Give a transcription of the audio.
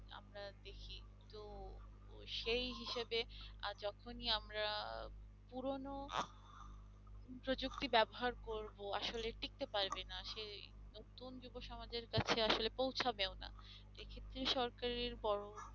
সেই হিসেবে আর যখনই আমরা পুরনো প্রযুক্তি ব্যবহার করব আসলে টিকতে পারবে না সেই নতুন যুব সমাজের কাছে আসলে পৌঁছাবে ও না এক্ষেত্রে সরকারের বড়